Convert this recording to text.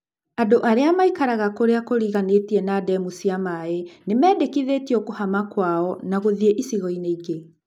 Andũ arĩa maikaraga kũrĩa kũriganĩtie na ndemu cia maĩ nĩmendĩkithĩtio kũhama kwao na gũthiĩ icigo-inĩ ingĩ.